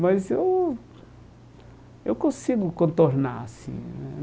Mas eu eu consigo contornar, assim né.